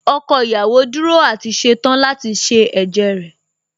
Ọkọ ìyàwó dúró àti ṣetán láti ṣe ẹ̀jẹ́ rẹ̀